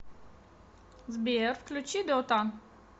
сбер включи дотан